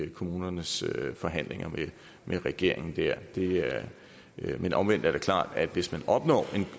i kommunernes forhandlinger med regeringen dér men omvendt er det klart at hvis man opnår